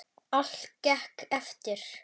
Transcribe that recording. Allt gekk eftir.